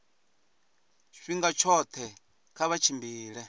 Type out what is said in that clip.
tshifhinga tshoṱhe kha vha tshimbile